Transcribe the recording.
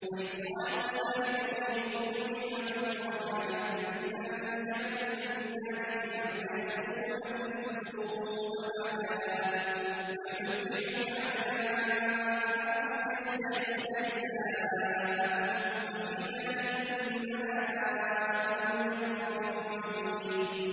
وَإِذْ قَالَ مُوسَىٰ لِقَوْمِهِ اذْكُرُوا نِعْمَةَ اللَّهِ عَلَيْكُمْ إِذْ أَنجَاكُم مِّنْ آلِ فِرْعَوْنَ يَسُومُونَكُمْ سُوءَ الْعَذَابِ وَيُذَبِّحُونَ أَبْنَاءَكُمْ وَيَسْتَحْيُونَ نِسَاءَكُمْ ۚ وَفِي ذَٰلِكُم بَلَاءٌ مِّن رَّبِّكُمْ عَظِيمٌ